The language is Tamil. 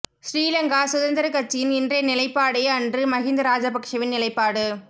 ஸ்ரீ லங்கா சுதந்திரக் கட்சியின் இன்றைய நிலைப்பாடே அன்று மஹிந்த ராஜபக்ஷவின் நிலைப்பாடு